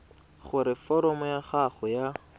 gore foromo ya gago ya